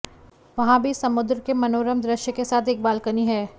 वहाँ भी समुद्र के मनोरम दृश्य के साथ एक बालकनी है